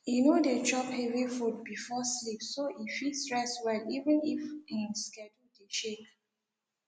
e no dey chop heavy food before sleep so e fit rest well even if en schedule dey shake